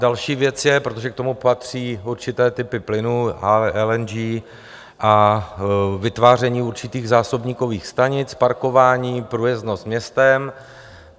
Další věc je, protože k tomu patří určité typy plynu, LNG a vytváření určitých zásobníkových stanic, parkování, průjezdnost městem.